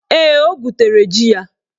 Ee, o gwutere ji ya.